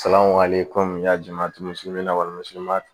Salawale komi y'a di ma walima